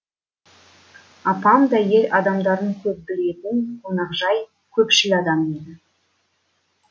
апам да ел адамдарын көп білетін қонақжай көпшіл адам еді